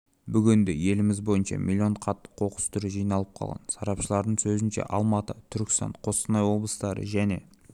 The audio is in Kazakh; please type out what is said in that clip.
бүгінде еліміз бойынша миллион қатты қоқыс түрі жиналып қалған сарапшылардың сөзінше алматы түркістан қостанай облыстары және